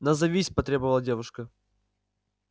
назовись потребовала девушка